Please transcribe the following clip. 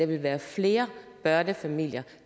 vil være flere børnefamilier